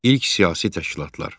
İlk siyasi təşkilatlar.